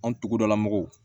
Anw tugudala mɔgɔw